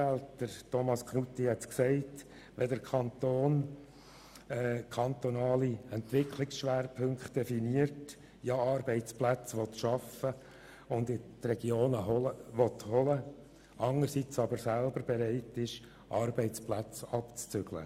Es ist schon ein wenig eine verkehrte Welt, wenn der Kanton einerseits kantonale Entwicklungsschwerpunkte definiert und Arbeitsplätze in den Regionen schaffen will, aber andererseits bereit ist, Arbeitsplätze aus den Regionen abzuziehen.